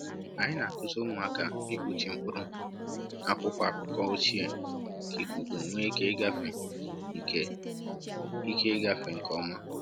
Anyị na-akụzi ụmụaka ịkpuchi mkpụrụ n’akwụkwọ akụkọ ochie ka ikuku nwee ike ịgafe nke ike ịgafe nke ọma.